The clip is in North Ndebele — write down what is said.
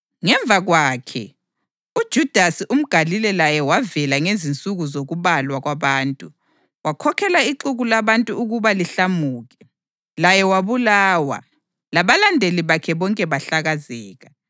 Ngemva kwakhe, uJudasi umGalile laye wavela ngezinsuku zokubalwa kwabantu, wakhokhela ixuku labantu ukuba lihlamuke. Laye wabulawa, labalandeli bakhe bonke bahlakazeka.